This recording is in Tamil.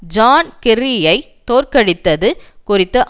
ஜான் கெர்ரியைத் தோற்கடித்தது குறித்து